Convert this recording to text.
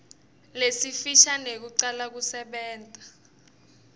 lesifisha nekucala kusebenta